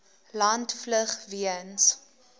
land vlug weens